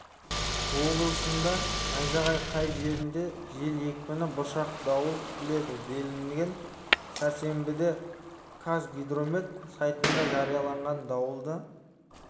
облысында найзағай кей жерлерінде жел екпіні бұршақ дауыл күтіледі делінген сәрсенбіде қазгидромет сайтында жарияланған дауылды